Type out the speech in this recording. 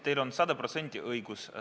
Teil on sada protsenti õigus.